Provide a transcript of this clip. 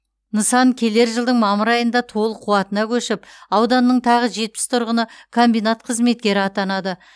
нысан келер жылдың мамыр айында толық қуатына көшіп ауданның тағы жетпіс тұрғыны комбинат қызметкері атанады